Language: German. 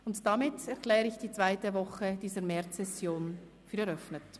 Damit erkläre ich die zweite Woche dieser Märzsession für eröffnet.